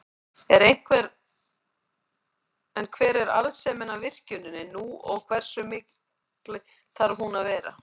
En hver er arðsemin af virkjuninni nú og hversu mikil þarf hún að vera?